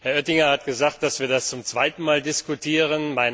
Herr Oettinger hat gesagt, dass wir das zum zweiten Mal diskutieren.